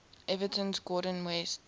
everton's gordon west